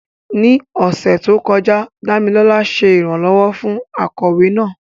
Ní ọ̀sẹ̀ tó kọjá, Dámilọ́lá ṣe ìrànlọ́wọ́ fún akọ̀wé náà.